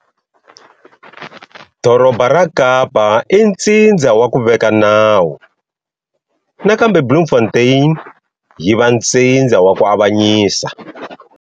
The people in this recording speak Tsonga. Doroba ra Kapa i ntsindza wa ku veka nawu nakambe Bloemfontein yiva ntsindza wa ku avanyisa.